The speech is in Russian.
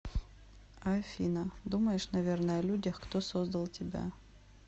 афина думаешь наверное о людях кто создал тебя